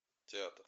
театр